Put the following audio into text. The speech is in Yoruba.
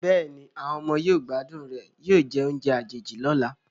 Bẹ́ẹ̀ni, àwọn ọmọ yóò gbádùn rẹ̀ yóò jẹ oúnjẹ àjèjì lọ́la.